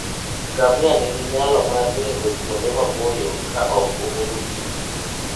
Ngamia nigi nyalo mar ringo kuonde maboyo ka ok omodho pi.